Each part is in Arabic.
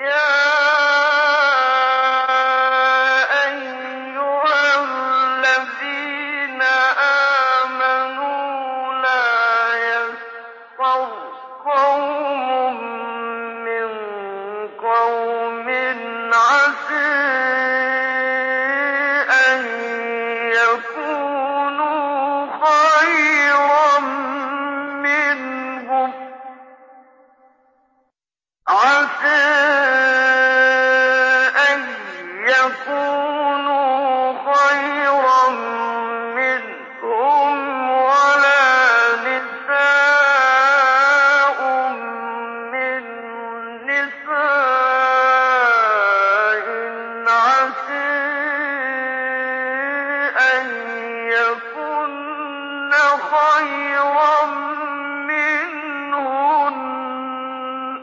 يَا أَيُّهَا الَّذِينَ آمَنُوا لَا يَسْخَرْ قَوْمٌ مِّن قَوْمٍ عَسَىٰ أَن يَكُونُوا خَيْرًا مِّنْهُمْ وَلَا نِسَاءٌ مِّن نِّسَاءٍ عَسَىٰ أَن يَكُنَّ خَيْرًا مِّنْهُنَّ ۖ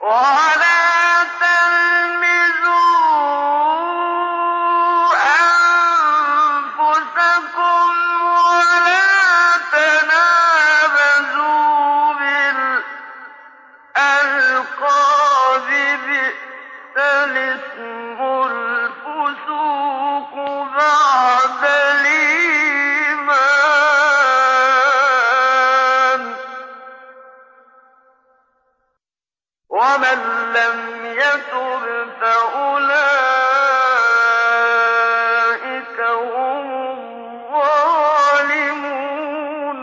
وَلَا تَلْمِزُوا أَنفُسَكُمْ وَلَا تَنَابَزُوا بِالْأَلْقَابِ ۖ بِئْسَ الِاسْمُ الْفُسُوقُ بَعْدَ الْإِيمَانِ ۚ وَمَن لَّمْ يَتُبْ فَأُولَٰئِكَ هُمُ الظَّالِمُونَ